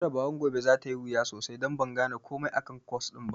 Jarabawar gobe za ta yi wuya don ban gane komai akan kwas ɗin ba.